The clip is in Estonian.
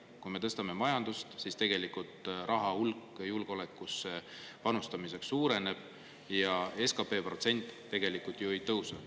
Kui me tõstame majandust, siis julgeolekusse panustamiseks raha hulk suureneb ja protsent SKP‑st tegelikult ju ei tõuse.